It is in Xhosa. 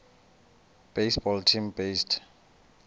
baseball team based